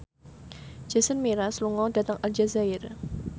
Jason Mraz lunga dhateng Aljazair